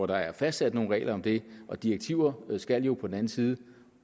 der fastsætter nogle regler om det og direktiver skal jo på den anden side